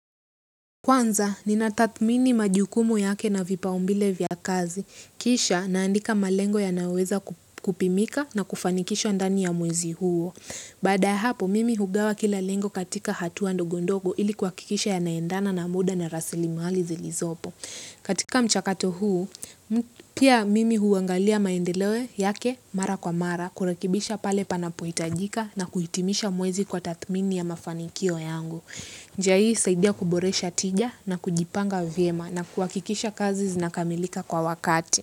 Kwanza, nina tathmini majukumu yake na vipao mbele vya kazi. Kisha, naandika malengo yanayoweza kupimika na kufanikisha ndani ya mwezi huo. Baada ya hapo, mimi hugawa kila lengo katika hatua ndogo ndogo ili kuhakikisha yanaendana na muda na rasilimali zilizopo. Katika mchakato huu pia mimi huangalia maendeleo yake mara kwa mara, kurekebisha pale panapohitajika na kuhitimisha mwezi kwa tathmininya mafanikio yangu. Njia hii husaidia kuboresha tija na kujipanga vyema na kuhakikisha kazi zinakamilika kwa wakati.